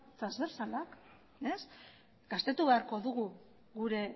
transbertsalak gaztetu beharko dugu gure